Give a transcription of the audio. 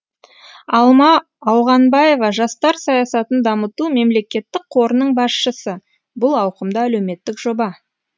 алма ауғанбаева жастар саясатын дамыту мемлекеттік қорының басшысы бұл ауқымды әлеуметтік жоба